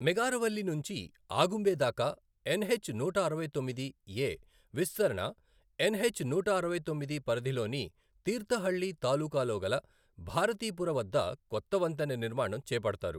మెగారవల్లి నుంచి అగుంబే దాకా ఎన్హెచ్ నూట అరవై తొమ్మిది ఎ విస్తరణ ఎన్హెచ్ నూట అరవై తొమ్మిది పరిధిలోని తీర్థహళ్లి తాలూకాలోగల భారతీపుర వద్ద కొత్త వంతెన నిర్మాణం చేపడతారు.